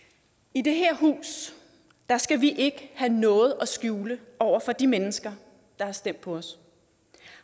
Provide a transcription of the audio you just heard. i det her hus skal vi ikke have noget at skjule over for de mennesker der har stemt på os